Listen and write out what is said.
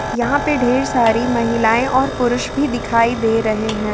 यहां पर ढेर सारी महिलाएं और पुरुष भी दिखाई दे रहे हैं।